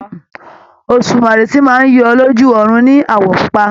Òsùmàrè tí máa ń yọ lójú ọ̀run ní àwọ̀ pupa.